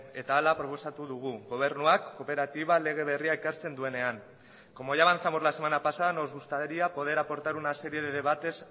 eta hala proposatu dugu gobernuak kooperatiba lege berria ekartzen duenean como ya avanzamos la semana pasada nos gustaría poder aportar una serie de debates